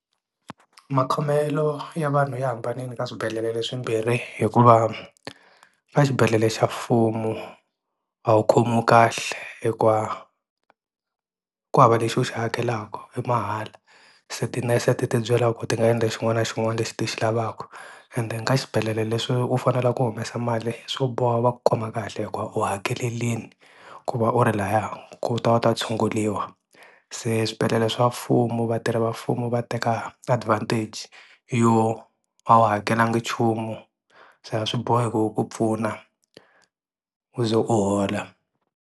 Makhomelo ya vanhu ya hambanile ka swibedhlele leswimbirhi hikuva ka xibedhlele xa mfumo a wu khomiwei kahle hikuva ku hava lexi u xi hakelaka i mahala se ti-nurse ti tibyela ku ti nga endla xin'wana na xin'wana lexi ti xi lavaka and then ka xibedhlele leswi u faneleke ku humesa mali swo boha va ku khoma kahle hikuva u hakelerini ku va u ri laya ku ta u ta tshunguriwa se swibedhlele swa mfumo vatirhelamfumo va teka advantage yo a wu hakelanga nchumu so a swi bohi ku hi ku pfuna u ze u hola.